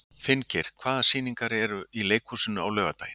Finngeir, hvaða sýningar eru í leikhúsinu á laugardaginn?